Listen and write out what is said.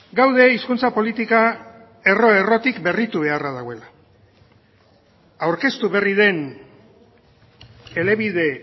gaude hizkuntza politika erro errotik berritu beharra dagoela aurkeztu berri den elebide